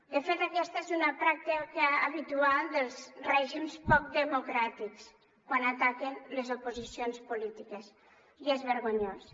de fet aquesta és una pràctica habitual dels règims poc democràtics quan ataquen les oposicions polítiques i és vergonyós